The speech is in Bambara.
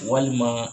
Walima